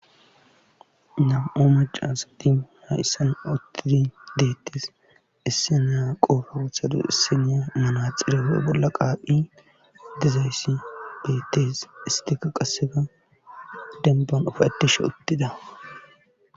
Na'o macasa di hayssan auttidi deettes isse naa qoofa wuthadu isseneya manaxirefe bolla qaapi dezayssi bettes istika qasseka denban ufaettishe uttida.